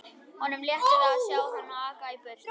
Honum létti við að sjá hana aka í burtu.